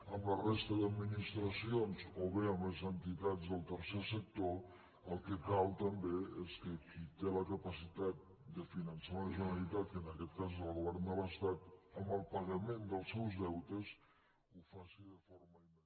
amb la resta d’administracions o bé amb les entitats del tercer sector el que cal també és que qui té la ca·pacitat de finançar la generalitat que en aquest cas és el govern de l’estat amb el pagament dels seus deutes ho faci de forma immediata